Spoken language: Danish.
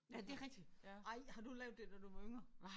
Ja det rigtigt ej har du lavet det da du var yngre